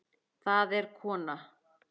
Það er kona.